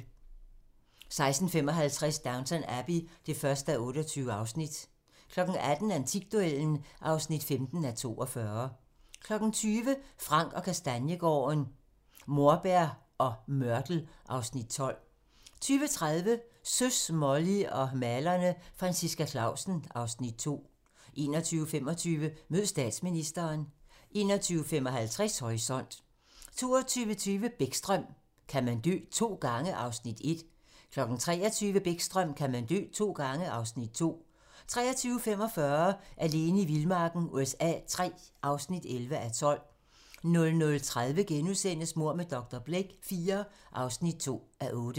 16:55: Downton Abbey (1:28) 18:00: Antikduellen (15:42) 20:00: Frank & Kastaniegaarden - Morbær og mørtel (Afs. 12) 20:30: Søs, Molly og malerne - Franciska Clausen (Afs. 2) 21:25: Mød statsministeren 21:55: Horisont 22:20: Bäckström: Kan man dø to gange? (Afs. 1) 23:00: Bäckström: Kan man dø to gange? (Afs. 2) 23:45: Alene i vildmarken USA III (11:12) 00:30: Mord med dr. Blake IV (2:8)*